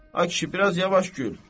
Ay kişi, biraz yavaş gül.